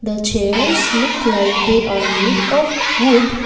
the chairs look like they are made of wood.